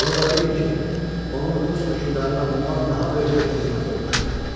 Bunu da bilin ki, onun öz hökmdarına bundan daha böyük bir xidməti olmuşdu.